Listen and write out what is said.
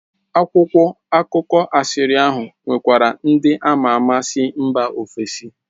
Akwụkwọ akụkọ asịrị ahụ nwekwara ndị ama ama si mba ofesi.